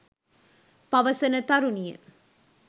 පවසන තරුණිය